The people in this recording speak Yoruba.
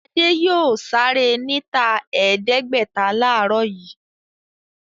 Adé yóò sáré níta ẹ̀ẹ́dẹ́gbẹ̀ta láàárọ̀ yìí.